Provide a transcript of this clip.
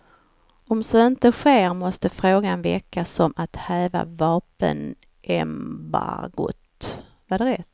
Om så inte sker måste frågan väckas om att häva vapenembargot.